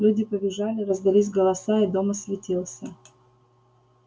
люди побежали раздались голоса и дом осветился